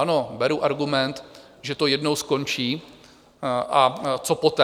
Ano, beru argument, že to jednou skončí, a co poté?